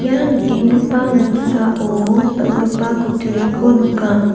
ia nikenggipa noksao dal·gipa kutturiko nika.